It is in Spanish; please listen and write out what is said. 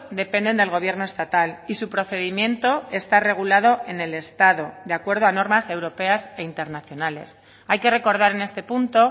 dependen del gobierno estatal y su procedimiento está regulado en el estado de acuerdo a normas europeas e internacionales hay que recordar en este punto